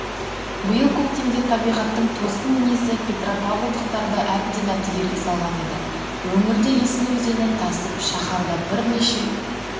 биыл көктемде табиғаттың тосын мінезі петропавлдықтарды әбден әбігерге салған еді өңірде есіл өзені тасып шаһарда бірнеше